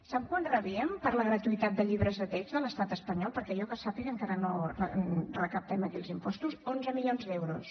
sap quant rebíem per la gratuïtat de llibres de text de l’estat espanyol perquè jo que sàpiga encara no recaptem aquí els impostos onze milions d’euros